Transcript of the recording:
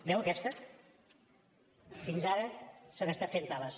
veu aquesta fins ara s’han estat fent tales